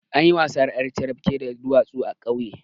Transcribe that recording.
Anayin wasan ƴar carafke da duwatsu a ƙauye